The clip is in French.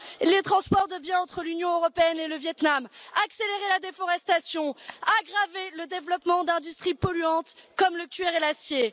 les transports de biens entre l'Union européenne et le Viêt Nam, accélérer la déforestation, aggraver le développement d'industries polluantes comme le cuir et l'acier.